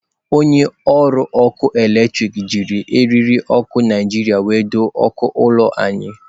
Onye ọrụ ọkụ eletrik jiri eriri okụ Naijiria were doo okụ ụlọ anyị.